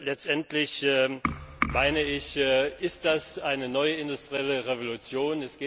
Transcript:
Letztendlich, so meine ich, ist das eine neue industrielle Revolution.